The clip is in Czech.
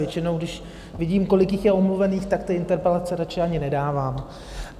Většinou když vidím, kolik jich je omluvených, tak ty interpelace raději ani nedávám.